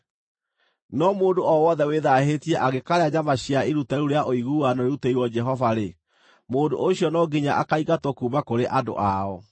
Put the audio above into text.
No mũndũ o wothe wĩthaahĩtie angĩkaarĩa nyama cia iruta rĩu rĩa ũiguano rĩrutĩirwo Jehova-rĩ, mũndũ ũcio no nginya akaingatwo kuuma kũrĩ andũ ao.